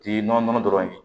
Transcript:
K'i nɔnɔ nɔnɔ dɔrɔn ye